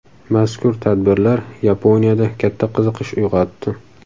Mazkur tadbirlar Yaponiyada katta qiziqish uyg‘otdi.